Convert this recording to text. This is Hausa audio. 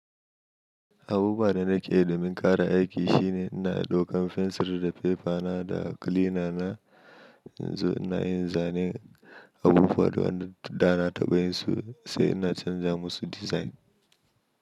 Abubuwa da nake yi domin ƙara aiki shine ina ɗaukan fensir da pepa na da kilina na. In zo ina yin zanen abubuwa da waɗanda da na taɓa yin su sai ina canza musu dizain.